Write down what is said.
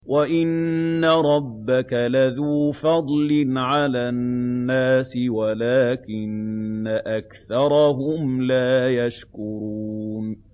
وَإِنَّ رَبَّكَ لَذُو فَضْلٍ عَلَى النَّاسِ وَلَٰكِنَّ أَكْثَرَهُمْ لَا يَشْكُرُونَ